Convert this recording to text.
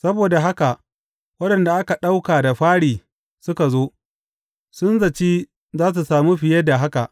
Saboda haka da waɗanda aka ɗauka da fari suka zo, sun zaci za su sami fiye da haka.